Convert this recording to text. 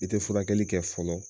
I te furakɛli kɛ fɔlɔ